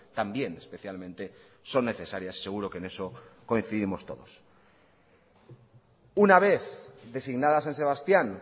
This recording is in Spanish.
también especialmente son necesarias seguro que en eso coincidimos todos una vez designada san sebastián